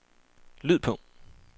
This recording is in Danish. lyd på